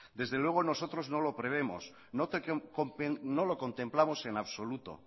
desde luego nosotros no lo prevemos no lo contemplamos en absoluto